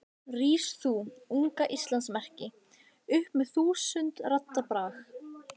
Rís þú, unga Íslands merki, upp með þúsund radda brag.